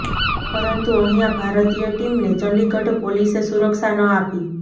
પરંતુ અહિંયા ભારતીય ટીમને ચંદિગઢ પોલીસે સુરક્ષા ન આપી